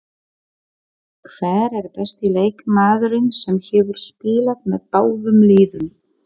Hver er besti leikmaðurinn sem hefur spilað með báðum liðum?